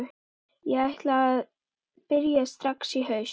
Ég ætla að byrja strax í haust.